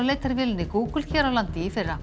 leitarvélinni Google hér á landi í fyrra